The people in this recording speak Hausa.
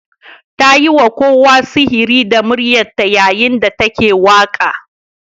Ta yi wa kowa sihiri da muryarta yayin da take waƙa.